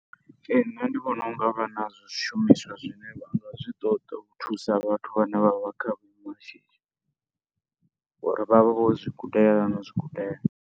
Ee, nṋe ndi vhona u nga vha na zwishumiswa zwine vha nga zwi ṱoḓa u thusa vhathu vhane vha vha kha zwiimo zwa shishi ngori vha vha vho zwi gudela no zwi gudela.